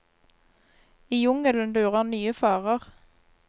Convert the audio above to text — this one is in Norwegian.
I jungelen lurer nye farer.